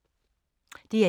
DR1